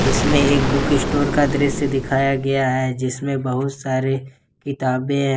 इसमें एक बुकस्टोर का दृश्य दिखाया गया है जिसमे बहुत सारे किताबें हैं।